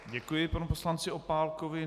Děkuji panu poslanci Opálkovi.